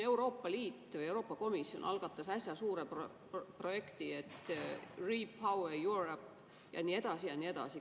Euroopa Liit, Euroopa Komisjon algatas äsja suure projekti "RePower EU" ja nii edasi ja nii edasi.